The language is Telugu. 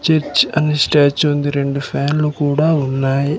చర్చ్ అనే స్టాచూ ఉంది రెండు ఫ్యాన్లు కూడా ఉన్నాయి.